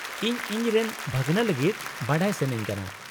-ᱤᱧ ᱤᱧᱨᱮᱱ ᱵᱷᱟᱹᱜᱱᱟᱹ ᱞᱟᱹᱜᱤᱫ ᱵᱟᱰᱟᱭ ᱥᱟᱹᱱᱟᱹᱧ ᱠᱟᱱᱟ ᱾